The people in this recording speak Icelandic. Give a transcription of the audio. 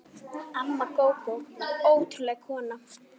Amma Gógó var ótrúleg kona.